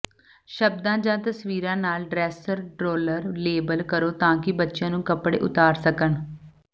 ਸ਼ਬਦਾਂ ਜਾਂ ਤਸਵੀਰਾਂ ਨਾਲ ਡ੍ਰੈਸਰ ਡ੍ਰੋਲਰ ਲੇਬਲ ਕਰੋ ਤਾਂ ਕਿ ਬੱਚਿਆਂ ਨੂੰ ਕੱਪੜੇ ਉਤਾਰ ਸਕਣ